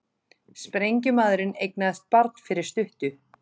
Sprengjumaðurinn eignaðist barn fyrir stuttu